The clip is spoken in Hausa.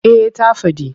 Eh ta faɗi.